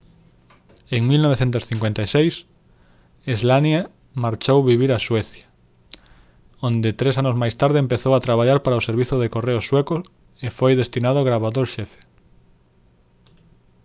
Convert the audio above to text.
en 1956 słania marchou vivir a suecia onde tres anos máis tarde empezou a traballar para o servizo de correos sueco e foi designado gravador xefe